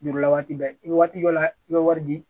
Jurula waati bɛɛ i bɛ waati dɔ la i bɛ wari di